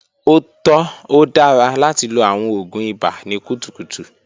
O tọ, o dara lati lo awọn oògùn ibà ni kutukutu.